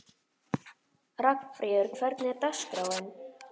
Ragnfríður, hvernig er dagskráin?